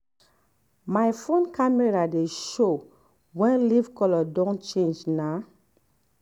my phone camera dey show when leaf color don change na.